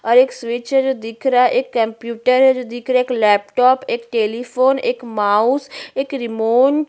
और एक स्विच है जो दिख रहा है एक कंप्यूटर है जो दिख रहा है एक लैपटॉप एक टेलीफोन एक माउस एक रिमोट --